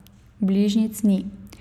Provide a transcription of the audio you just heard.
Bližnjic ni.